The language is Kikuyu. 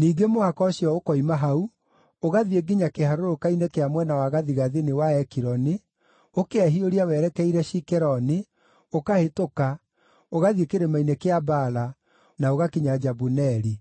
Ningĩ mũhaka ũcio ũkoima hau, ũgathiĩ nginya kĩharũrũka-inĩ kĩa mwena wa gathigathini wa Ekironi, ũkehiũria werekeire Shikeroni, ũkahĩtũka, ũgathiĩ kĩrĩma-inĩ kĩa Baala, na ũgakinya Jabuneeli.